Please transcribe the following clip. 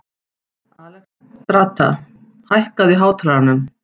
Alexstrasa, hækkaðu í hátalaranum.